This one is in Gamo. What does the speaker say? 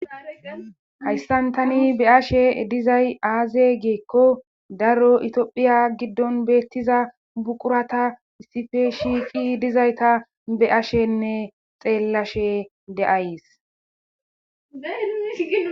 Hayssan tani be7ashe dizay aaze giiko daroo itophiya giddon beetiza buqurata issipe shiiqi dizayta be7ashenne xeellashe de7ays.